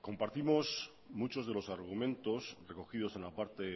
compartimos muchos de los argumentos recogidos en la parte